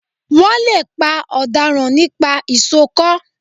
Wọ́n lè pa ọ̀daràn nípa ìsokọ́